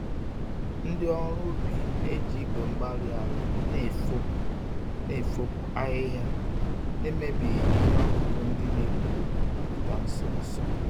Ndị ọrụ ubi na-eji igwe-mgbárí-ala na-efopụ na-efopụ ahịhịa, na-emebighị ihe ọkụkụ ndị n'epu pụta nso nso.